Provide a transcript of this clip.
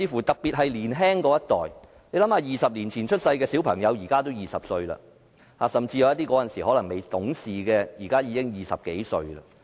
特別是年青一代，想想20年前出生的小朋友，現在20歲了，甚至那時候有些可能未懂事的，現在已經20多歲。